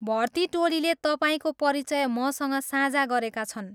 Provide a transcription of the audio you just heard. भर्ती टोलीले तपाईँको परिचय मसँग साझा गरेका छन्।